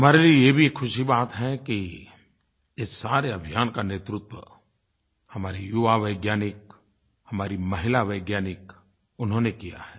हमारे लिये ये भी ख़ुशी की बात है कि इस सारे अभियान का नेतृत्व हमारे युवा वैज्ञानिक हमारी महिला वैज्ञानिक उन्होंने किया है